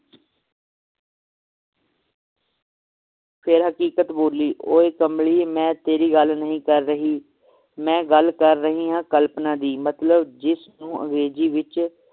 ਫੇਰ ਹਕੀਕਤ ਬੋਲੀ ਓਏ ਕਮਲੀ ਮੈ ਤੇਰੀ ਗੱਲ ਨਹੀਂ ਕਰ ਰਹੀ ਮੈ ਗੱਲ ਕਰ ਰਹੀ ਹਾਂ ਕਲਪਨਾ ਦੀ ਮਤਲਬ ਜਿਸ ਨੂੰ ਅੰਗਰੇਜ਼ੀ ਵਿਚ